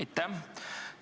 Aitäh!